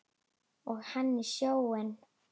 Og hann í sjóinn.